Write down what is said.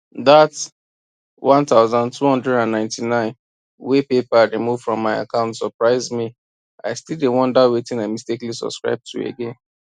that 1299 wey paypal remove from my account surprise me i still dey wonder wetin i mistakenly subscribe to again